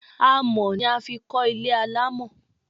Àmọ́ ni a fi kò ilé alamọ